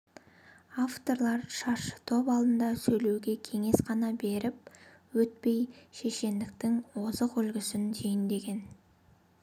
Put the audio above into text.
авторлар шаршытоп алдында сөйлеуге кеңес қана беріп өтпей шешендіктің озық үлгісін түйіндеген